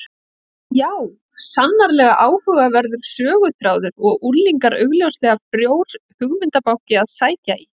Já, sannarlega áhugaverður söguþráður og unglingar augljóslega frjór hugmyndabanki að sækja í.